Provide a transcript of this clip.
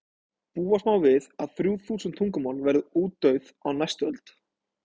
búast má við að þrjú þúsund tungumál verði útdauð á næstu öld